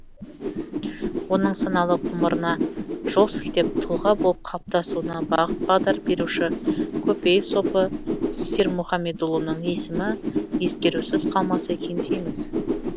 оның саналы ғұмырына жол сілтеп тұлға болып қалыптасуына бағыт бағдар беруші көпей сопы сермұхаммедұлының есімі ескерусіз қалмаса екен дейміз